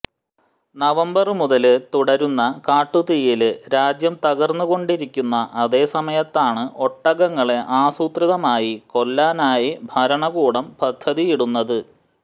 November മുതല് തുടരുന്ന കാട്ടുതീയില് രാജ്യം തകര്ന്നുകൊണ്ടിരിക്കുന്ന അതേ സമയത്താണ് ഒട്ടകങ്ങളെ ആസൂത്രിതമായി കൊല്ലാനായി ഭരണകൂടം പദ്ധതിയിടുന്നത്